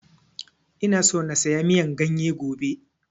Ina so na saya miyan ganye gobe